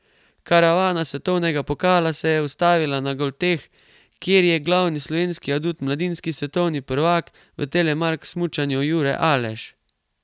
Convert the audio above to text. Karavana svetovnega pokala se je ustavila na Golteh, kjer jr glavni slovenski adut mladinski svetovni prvak v telemark smučanju Jure Aleš.